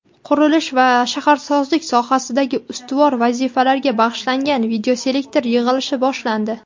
qurilish va shaharsozlik sohasidagi ustuvor vazifalarga bag‘ishlangan videoselektor yig‘ilishi boshlandi.